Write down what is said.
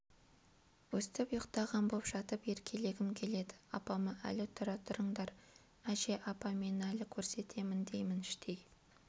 өстіп ұйықтаған боп жатып еркелегім келеді апама әлі тұра тұрыңдар әже апа мен әлі көрсетемін деймін іштей